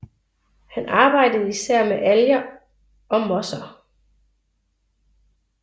Han arbejdede især med alger og mosser